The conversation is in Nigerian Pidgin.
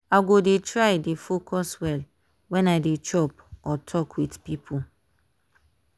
i go dey try dey focus well when i dey chop or talk with people.